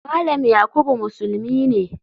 Malam yakubu musulmi ne.